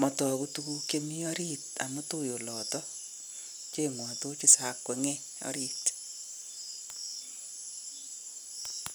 matoku tuguuk chemi ariit amuun tui oloto, kecheng'wa tochit sa kwenye ariit.